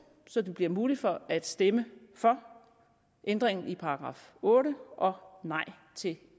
så det bliver muligt at stemme for ændringen i § otte og nej til